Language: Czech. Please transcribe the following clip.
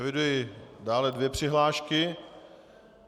Eviduji dále dvě přihlášky.